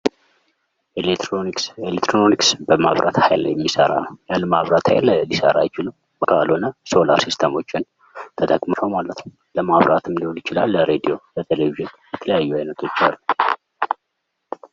ኤሌክትሮኒክስ በመብራት ኃይል የሚሰራ ነው። ያለ መብራት ሃይል ሊሰራ አይችልም። ካልሆነ ሶላር ሲስተሞችን ተጠቅመው ነው ማለት ነው። ለማፍራትም ሊሆን ይችላል ለ ራዲዮ ለ ቴሌቪዥን የተለያዩ ዓይነቶች አሉ።